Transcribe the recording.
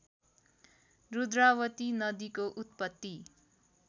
रुद्रावती नदीको उत्पत्ति